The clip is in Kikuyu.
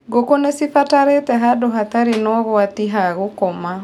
Ngũkũ nĩcibataraga handũ hatarĩ na ũgwati ha gũkoma.